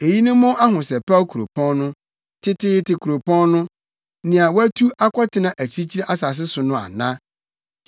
Eyi ne mo ahosɛpɛw kuropɔn no, teteete kuropɔn no, nea wɔatu akɔtena akyirikyiri nsase so no ana?